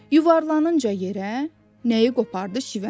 Yuvarlanınca yerə, nəyi qopardı şivən.